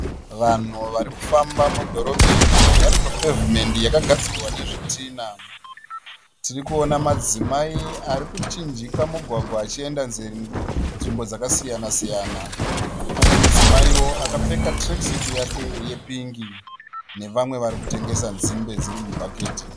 Vanhu vari kufamba mudhorobheni vari papevhimendi yakagadzirwa nezvitina. Tirikuona madzimai ari kuchinjika mugwagwa achienda nzvimbo dzakasiyana-siyana. Pane mudzimaiwo akapfeka tirekisuti yake yepingi nevamwe vari kutengesa nzimbe dziri mubhaketi.